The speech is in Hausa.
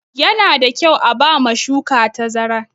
Yana da kyau a ba ma shuka tazara.